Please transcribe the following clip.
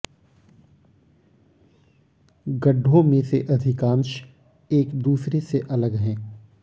गड्ढों में से अधिकांश एक दूसरे से अलग है